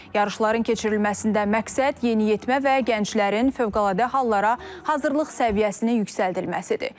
Yarışların keçirilməsində məqsəd yeniyetmə və gənclərin fövqəladə hallara hazırlıq səviyyəsini yüksəldilməsidir.